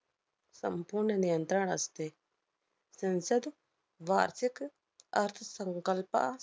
संपूर्ण नियंत्रण असते. संसद वार्षिक अर्थसंकल्पा~